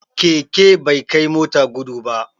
Keke bai kai mota gudu ba